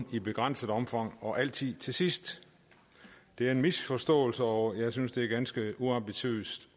i begrænset omfang og altid til sidst det er en misforståelse og jeg synes det er ganske uambitiøst